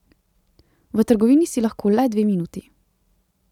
V trgovini si lahko le dve minuti.